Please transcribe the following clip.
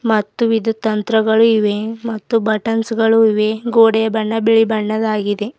ಮತ್ತು ವಿದ್ಯುತ್ ತಂತ್ರಗಳು ಇವೆ ಮತ್ತು ಬಟನ್ಸ್ ಗಳು ಇವೆ ಗೋಡೆಯ ಬಣ್ಣ ಬಿಳಿ ಬಣ್ಣದ್ದಾಗಿದೆ.